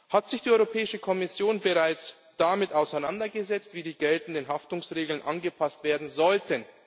Hat sich die Europäische Kommission bereits damit auseinandergesetzt, wie die geltenden Haftungsregeln angepasst werden sollten?